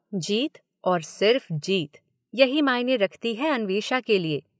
‘जीत’ और सिर्फ़ ‘जीत’, यही मायने रखती है अन्वेषा के लिए।